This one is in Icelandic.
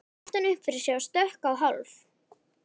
æpti hann upp yfir sig og stökk á hálf